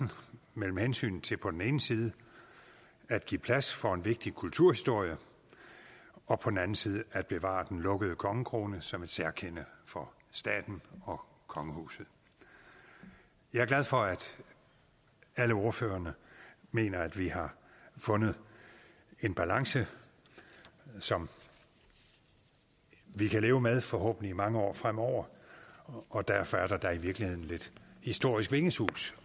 mellem hensynet til på den ene side at give plads for en vigtig kulturhistorie og på den anden side at bevare den lukkede kongekrone som et særkende for staten og kongehuset jeg er glad for at alle ordførerne mener at vi har fundet en balance som vi kan leve med i forhåbentlig mange år fremover og derfor er der da i virkeligheden lidt historisk vingesus